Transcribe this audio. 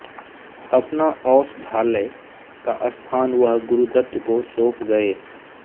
अपना औषधालय का स्थान वह गुरुदत्त को सौंप गये